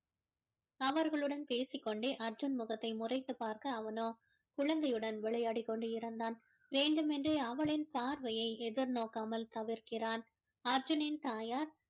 அவர்களுடன் பேசிக்கொண்டே அர்ஜுனின் முகத்தை முறைத்துப் பார்க்க அவனோ குழந்தையுடன் விளையாடிக் கொண்டு இருந்தான் வேண்டும் என்றே அவளின் பார்வையை எதிர் நோக்காமல் தவிர்க்கிறான் அர்ஜுனனின் தாயார்